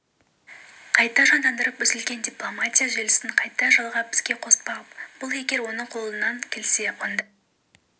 қайта жандандырып үзілген дипломатия желісін қайта жалғап іске қоспақ бұл егер оның қолынан келсе онда